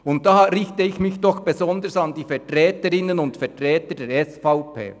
Diesbezüglich richte ich mich besonders an die Vertreter und Vertreterinnen der SVP: